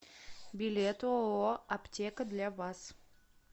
билет ооо аптека для вас